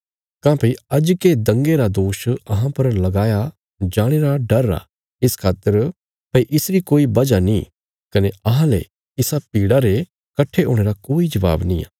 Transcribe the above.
काँह्भई अजके दंगे रा दोष अहां पर लगाया जाणे रा डर आ इस खातर भई इसरी कोई वजह नीं कने अहांले इसा भीड़ा रे कट्ठे हुणे रा कोई जवाब निआं